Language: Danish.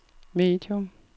medium